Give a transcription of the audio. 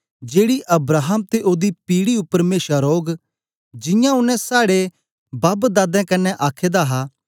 जेड़ी अब्राहम ते ओदी पीढ़ी उपर मेशा रौग जियां ओनें साड़े बापदादें कन्ने आखे दा हा